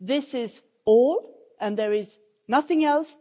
This is all and there is nothing else